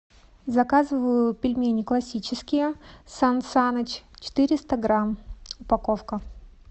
заказываю пельмени классические сан саныч четыреста грамм упаковка